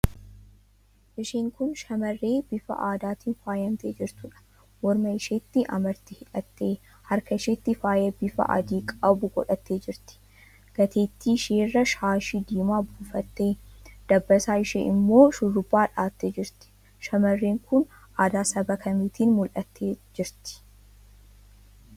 Isheen kun shamarree bifa aadaatiin faayamtee jirtuudha. Morma isheetti amartii hidhattee, harka isheettis faayaa bifa adii qabu godhattee jirti. Gateettii isheerra shaashii diimaa buufattee, dabbasaa ishee immoo shurrubbaa dhahattee jirti. Shamarreen kun aadaa saba kamiitiin mul'attee jirti?